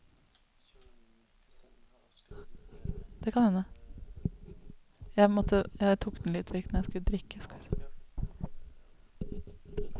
seks fem en tre trettifire to hundre og sekstito